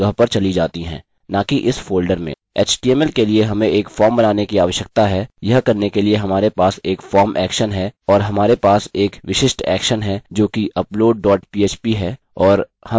html के लिए हमें एक फॉर्म बनाने की आवश्यकता है यह करने के लिए हमारे पास एक form action है और हमारे पास एक विशिष्ट action है जोकि upload dot php है और हमने हमारी फाइल यहाँ बना ली है